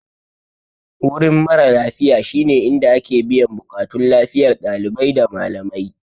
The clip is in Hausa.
Wurin mara lafiya shine inda ake biyan buƙatun lafiyar dalibai da malamai.